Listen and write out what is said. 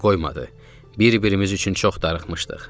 Bir-birimiz üçün çox darıxmışdıq.